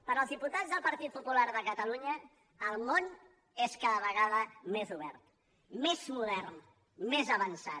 pels diputats del partit popular de catalunya el món és cada vegada més obert més modern més avançat